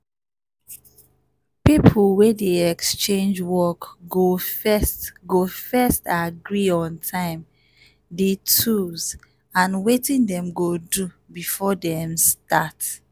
people wey dey exchange work go first go first agree on time d tools and wetin dem go do before dem start